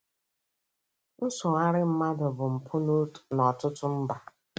Nsogharị mmadụ bụ mpụ n'ọtụtụ mba.